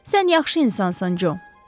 Sən yaxşı insansan, Co.